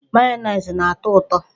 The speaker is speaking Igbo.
Mayonezi na-ato uto.